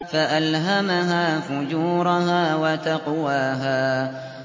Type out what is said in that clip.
فَأَلْهَمَهَا فُجُورَهَا وَتَقْوَاهَا